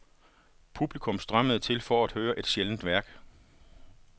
Publikum strømmede til for at høre et sjældent værk.